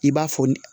I b'a fɔ ne